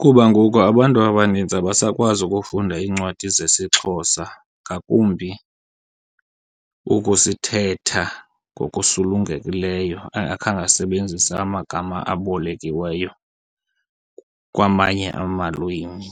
kuba ngoku abantu abaninzi abasakwazi ukufunda iincwadi zesiXhosa, ngakumbi ukusithetha ngokusulungekileyo engakhange asebenzise amagama abolekiweyo kwamanye amalwimi.